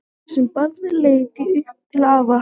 Sem barn leit ég upp til afa.